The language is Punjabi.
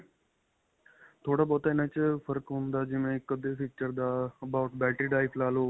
ਥੋੜਾ ਬਹੁਤ ਇਨ੍ਹਾਂ 'ਚ ਫ਼ਰਕ ਹੁੰਦਾ, ਜਿਵੇਂ ਇੱਕ-ਅੱਧੇ feature ਦਾ about battery type ਲਾ ਲੋ.